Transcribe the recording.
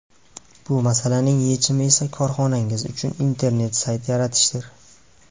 Bu masalaning yechimi esa korxonangiz uchun internet sayt yaratishdir.